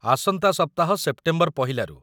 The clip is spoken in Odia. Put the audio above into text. ଆସନ୍ତା ସପ୍ତାହ, ସେପ୍ଟେମ୍ବର ପହିଲାରୁ ।